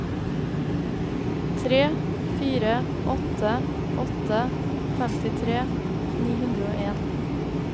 tre fire åtte åtte femtitre ni hundre og en